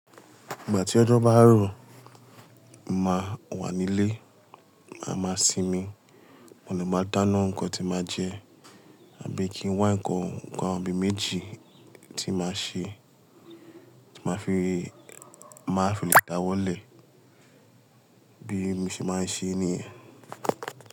Ìgbà tí ọjọ́ bá rọ̀, màá wà nílé, màá ma sinmi, mo le máa dáná nǹkan tí n màá jẹ, àbí kí n wá ǹkan ohun kan àbí méjì tí màá ṣe, màá fi le dá wọlé bí mo ṣe máa ń ṣe niyen.